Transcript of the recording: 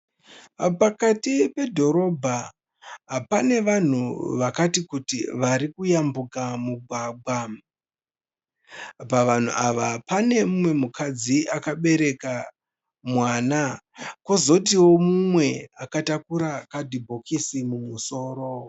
Pakati pedhorobha pane vanhu vakati kuti varikuyambuka mugwagwa. Pavanhu ava pane mumwe mukadzi akabereka mwana kozotio mumwe akatakura kadhibhokisi mumusoro.